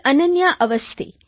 Ananya Awasthi